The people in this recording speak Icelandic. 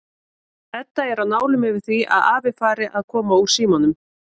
Edda er á nálum yfir því að afi fari að koma úr símanum.